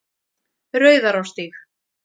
Rauðarárstíg